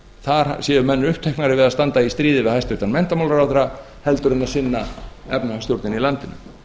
þar séu menn uppteknari við að standa í stríði við hæstvirtan menntamálaráðherra heldur en sinna efnahagsstjórninni í landinu